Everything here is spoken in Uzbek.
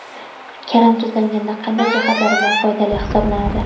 Karam tuzlanganda qanday jihatlari bilan foydali hisoblanadi ?